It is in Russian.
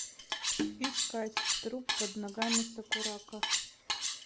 искать труп под ногами сакурако